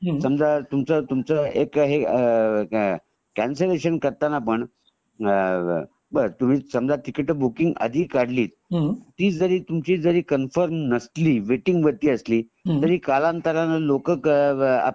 समजा तुमच तुमच एक हे कंसलेशन झाल समजा समजा तुमच एक अ कॅन्सलेशन करताना पण अ तर तुम्ही समजा टिकिट बूकिंग आदि काढलीत ती जारी तुमची कन्फर्म नसली वेटिंग वरती असली तरी कालंतराने लोकं अ